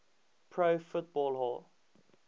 pro football hall